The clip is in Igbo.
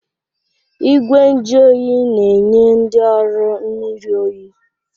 Igwe nju oyi na-enye ndị ọrụ mmiri oyi.